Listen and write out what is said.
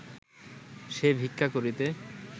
সে ভিক্ষা করিতে